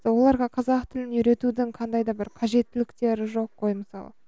оларға қазақ тілін үйретудің қандай да бір қажеттіліктер жоқ қой мысалы